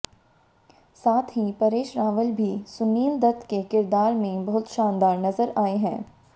साथ ही परेश रावल भी सुनील दत्त के किरदार में बहुत शानदार नज़र आये हैं